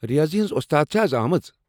ریٲضی ہٕنٛز ووستاد چھا از آمٕژ ؟